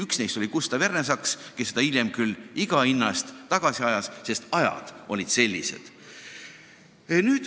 Üks neist oli Gustav Ernesaks, kes seda hiljem küll iga hinna eest tagasi ajas, sest ajad olid sellised.